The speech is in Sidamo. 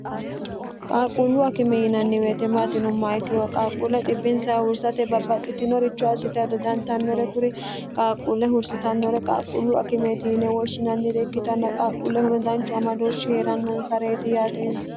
qaaqquullu akime yiinanni weete maati yinumoha ikkiro qaaqquulle xibbinsaa hursate babbaxxitinoricho assite ado dantannore kuri qaaqquulle hursitannore qaaqquullu akimeeti yine wooshshinannire ikkitanno qaaqquulle hono danchu amadoohshi hee'rannonsareeti yaatee insa